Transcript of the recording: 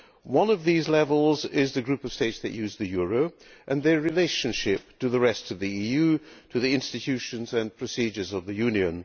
One of these levels is the group of states that use the euro and their relationship to the rest of the EU, to the institutions and procedures of the Union.